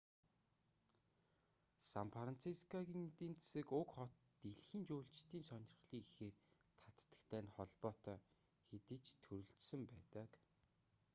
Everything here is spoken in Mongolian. сан францискогийн эдийн засаг уг хот дэлхийн жуулчдын сонирхлыг ихээр татдагтай нь холбоотой хэдий ч төрөлжсөн байдаг